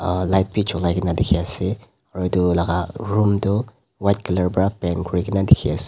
uhh light b julai kina diki ase aro etu laka room tho white color pera paint kuri kina diki ase.